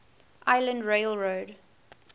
island rail road